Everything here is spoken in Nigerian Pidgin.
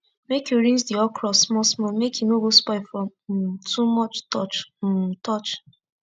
make u rinse d okro small small make e no go spoil from um too much touch um touch